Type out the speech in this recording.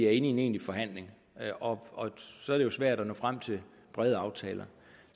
er inde i en egentlig forhandling og så er det jo svært at nå frem til brede aftaler